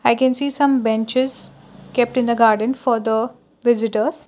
i can see some benches kept in a garden for the visitors.